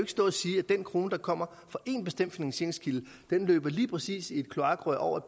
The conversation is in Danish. stå og sige at den krone der kommer fra én bestemt finansieringskilde løber lige præcis i dét kloakrør over